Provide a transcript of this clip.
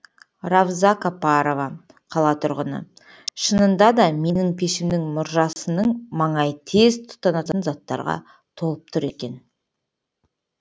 равза капарова қала тұрғыны шынында да менің пешімнің мұржасының маңайы тез тұтанатын заттарға толып тұр екен